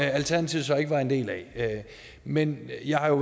alternativet så ikke var en del af men jeg har jo